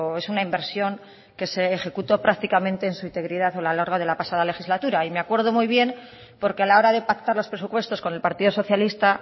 es una inversión que se ejecutó prácticamente en su integridad a lo largo de la pasada legislatura y me acuerdo muy bien porque a la hora de pactar los presupuestos con el partido socialista